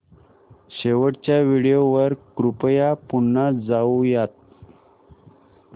शेवटच्या व्हिडिओ वर कृपया पुन्हा जाऊयात